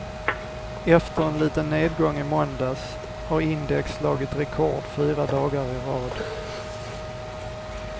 Efter en liten nedgång i måndags har index slagit rekord fyra dagar i rad.